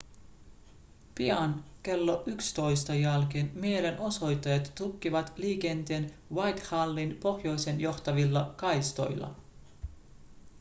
pian klo 11.00 jälkeen mielenosoittajat tukkivat liikenteen whitehallin pohjoiseen johtavilla kaistoilla